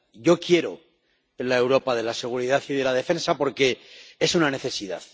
Yo quiero la Europa de la seguridad y de la defensa, porque es una necesidad.